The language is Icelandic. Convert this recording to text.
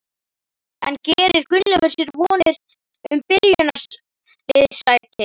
En gerir Gunnleifur sér vonir um byrjunarliðssæti?